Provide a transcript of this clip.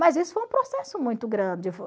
Mas isso foi um processo muito grande.